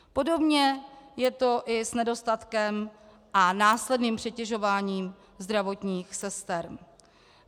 Podobně je to i s nedostatkem a následným přetěžováním zdravotních sester.